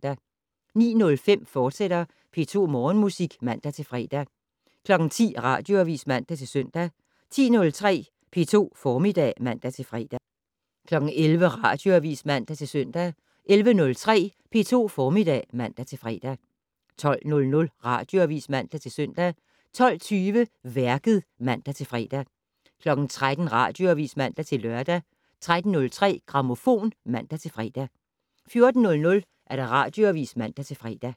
09:05: P2 Morgenmusik, fortsat (man-fre) 10:00: Radioavis (man-søn) 10:03: P2 Formiddag (man-fre) 11:00: Radioavis (man-søn) 11:03: P2 Formiddag (man-fre) 12:00: Radioavis (man-søn) 12:20: Værket (man-fre) 13:00: Radioavis (man-lør) 13:03: Grammofon (man-fre) 14:00: Radioavis (man-fre)